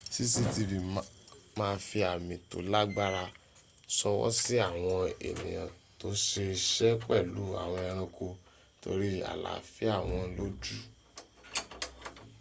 cctv ma fi àmì tó lágbára ṣọwọ́ sí àwọn ènìyàn tó ṣe iṣẹ́ pẹ̀lú àwọn ẹranko nítorí àláfíà wọn ló jù